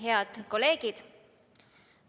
Head kolleegid!